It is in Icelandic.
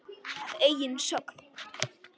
Að eigin sögn.